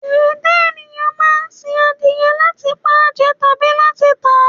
Ẹ̀dá ènìyàn máa ń sin adìyẹ láti pa jẹ tàbí láti tàá.